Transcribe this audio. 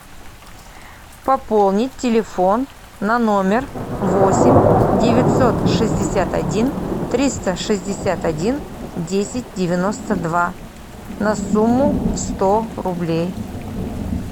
пополнить телефон на номер восемь девятьсот шестьдесят один триста шестьдесят один десять девяносто два на сумму сто рублей